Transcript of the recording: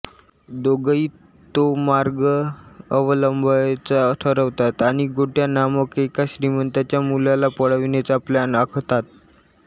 दोघंही तो मार्ग अवलंबायचं ठरवतात आणि गोट्या नामक एका श्रीमंताच्या मुलाला पळविण्याचा प्लॅन आखतात